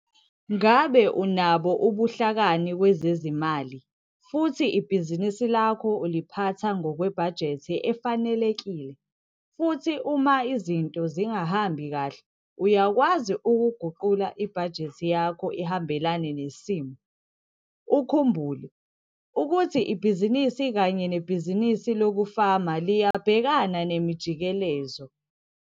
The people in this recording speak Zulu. Ngabe unabo ubuhlakani kwezezimali futhi ibhizinisi lakho uliphatha ngokwebhajethi efanelekile futhi uma izinto zingahambi kahle uyakwazi ukuguqula ibhajethi yakho ihambelane nesimo. Ukhumbule, ukuthi ibhizinisi kanye nebhizinisi lokufama liyabhekana nemijikelezo.